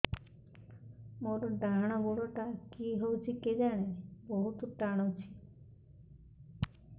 ମୋର୍ ଡାହାଣ୍ ଗୋଡ଼ଟା କି ହଉଚି କେଜାଣେ ବହୁତ୍ ଟାଣୁଛି